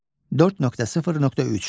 4.0.3.